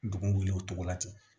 Dugu wuli o tɔgɔ la ten